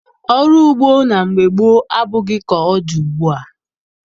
Ọrụ ugbo na mgbe gboo abụghị ka ọ dị ugbua.